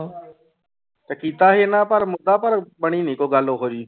ਤੇ ਕੀਤਾ ਸੀ ਇਹਨਾਂ ਪਰ ਮੁੱਦਾ ਪਰ ਬਣੀ ਨੀ ਕੋਈ ਗੱਲ ਉਹ ਜਿਹੀ।